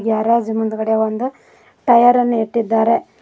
Garage ಮುಂದಗಡೆ ಒಂದು tyre ಅನ್ನು ಇಟ್ಟಿದ್ದಾರೆ.